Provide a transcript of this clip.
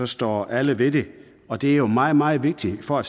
står alle ved det og det er jo meget meget vigtigt for at